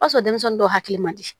O y'a sɔrɔ denmisɛnnin dɔw hakili man di